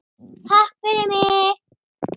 Takk fyrir mig!